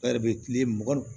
kile mugan ni